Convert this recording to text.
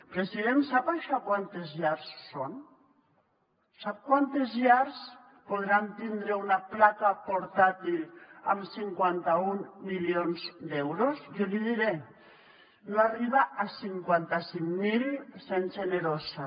president sap això quantes llars són sap quantes llars podran tindre una placa portàtil amb cinquanta un milions d’euros jo l’hi diré no arriba a cinquanta cinc mil sent generosa